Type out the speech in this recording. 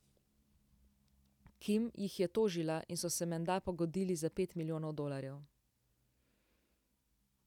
Kim jih je tožila in so se menda pogodili za pet milijonov dolarjev.